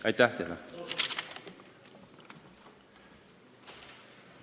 Aitäh teile!